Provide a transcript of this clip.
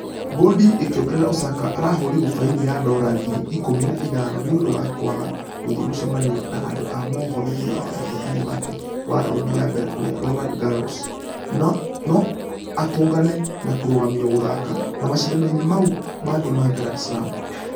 Bodi ĩkĩongerera Osaka arahũrirwo faini ya dora ngiri ikũmi na ithano nĩũndũ wa kũaga gũthie mũcemanio na andũ a mũhoro thutha wa ũhotani wake wa raundi ya mbere kũrĩa roland garros. Nũ atũngane na kũrũgamio gũthaka na mashidano-inĩ mau mangĩ ma grand slam .